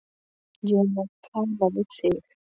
Ég er ekki að tala við þig.